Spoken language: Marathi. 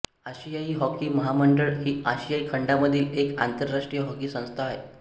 आशियाई हॉकी महामंडळ ही आशिया खंडामधील एक आंतरराष्ट्रीय हॉकी संस्था आहे